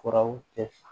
Furaw tɛ